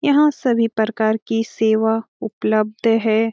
यहां सभी प्रकार की सेवा उपलब्ध है।